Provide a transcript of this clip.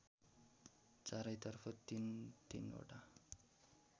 चारैतर्फ तीन तीनवटा